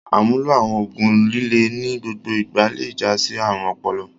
Àmúlò àwọn òògùn líle ní gbogbo ìgbà le jásí àrùn ọpọlọ.